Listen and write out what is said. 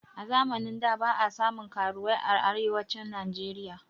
A zamanin da ba a samun karuwai a arewacin najeriya